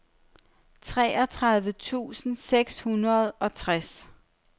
treogtredive tusind seks hundrede og tres